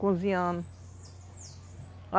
Cozinhando.